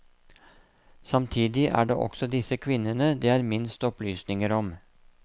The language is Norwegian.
Samtidig er det også disse kvinnene det er minst opplysninger om.